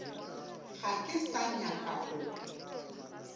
ga ke sa nyaka go